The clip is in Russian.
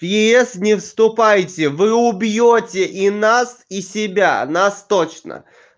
в ес не вступайте вы убьёте и нас и себя нас точно